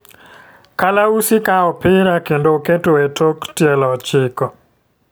Kalausi kawo opira kendo oketo e tok tielo ochiko.